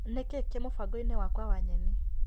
Nĩkĩĩ kĩ mũbango-inĩ wakwa wa nyeni .